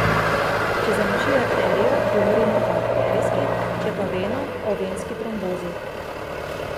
Če zamaši arterijo, govorimo o arterijski, če pa veno, o venski trombozi.